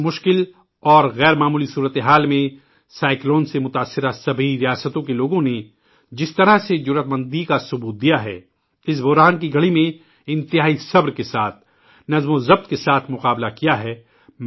اس مشکل اور غیر معمولی قدرتی آفات کے دوران ، اِن طوفانوں سے متاثر ہونے والی ریاستوں کے تمام لوگوں نے بہت جرات مندی کا مظاہرہ کیا ہے انہوں نے انتہائی تحمل اور ڈسپلن کے ساتھ ، اِس بحران کا سامنا کیا